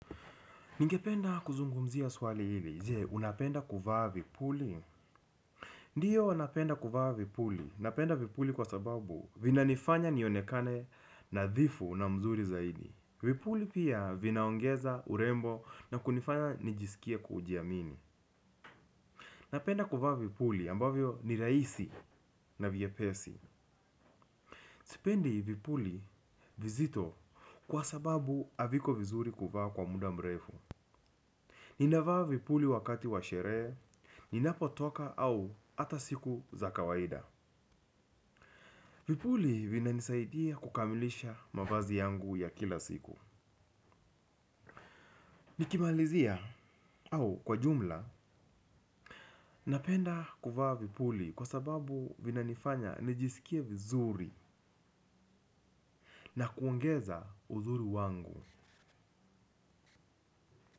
Ningependa kuzungumzia swali hili, je unapenda kuvaa vipuli? Ndio napenda kuvaa vipuli, napenda vipuli kwa sababu vina nifanya nionekane nadhifu na mzuri zaidi. Vipuli pia vinaongeza urembo na kunifanya nijisikie kujiamini. Napenda kuvaa vipuli ambavyo ni rahisi na vyepesi. Sipendi vipuli vizito kwa sababu haviko vizuri kuvaa kwa muda mrefu. Nina vaa vipuli wakati wa sherehe, ninapo toka au ata siku za kawaida. Vipuli vinanisaidia kukamilisha mavazi yangu ya kila siku. Nikimalizia au kwa jumla, napenda kuvaa vipuli kwa sababu vinanifanya nijisikie vizuri na kuongeza uzuri wangu.